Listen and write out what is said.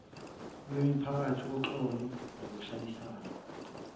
kwemiphakathi uxolo nokuhlalisana